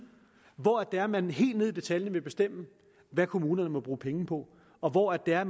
hvor det er at man helt ned i detaljen vil bestemme hvad kommunerne må bruge penge på og hvor det er at